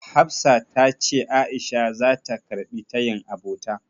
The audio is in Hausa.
Hafsat tace A'isha zata karɓi tayin abota.